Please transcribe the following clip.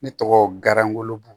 Ne tɔgɔ gargolo bu